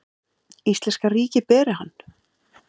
Íslenska ríkið beri hann.